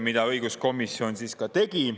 Seda õiguskomisjon ka tegi.